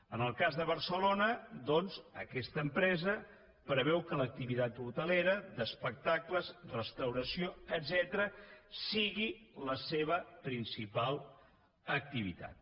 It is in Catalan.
en el cas de barcelona aquesta empresa preveu que l’activitat hotelera d’espectacles restauració etcètera sigui la seva principal activitat